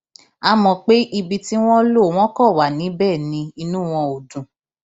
a mọ pé ibi tí wọn lò wọn kàn wà níbẹ ni inú wọn ò dùn